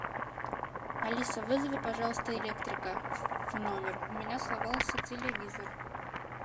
алиса вызови пожалуйста электрика в номер у меня сломался телевизор